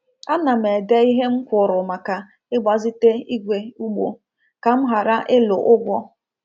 A na m ede ihe m kwụrụ maka ịgbazite igwe ugbo ka m ghara ịlụ ụgwọ.